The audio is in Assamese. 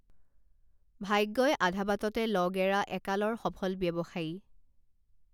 ভাগ্যই আধাবাটতে লগ এৰা একালৰ সফল ব্যৱসায়ী